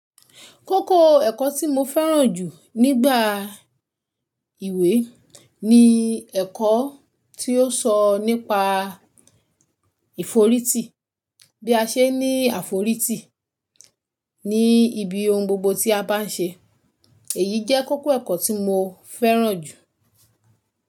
Kókó ẹ̀kọ́ tí mo fẹ́ràn jù nígbà ìwé ni ẹ̀kọ́ tí ó sọ nípa ìforítì bí a ṣe ní àforítì ní ibi ohun gbogbo tí a bá ń ṣe èyí jẹ́ kókó ẹ̀kọ́ tí mo fẹ́ràn jù.